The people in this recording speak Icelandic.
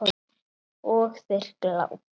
Og þeir glápa.